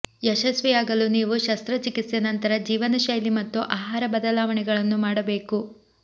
ಯಶಸ್ವಿಯಾಗಲು ನೀವು ಶಸ್ತ್ರಚಿಕಿತ್ಸೆ ನಂತರ ಜೀವನಶೈಲಿ ಮತ್ತು ಆಹಾರ ಬದಲಾವಣೆಗಳನ್ನು ಮಾಡಬೇಕು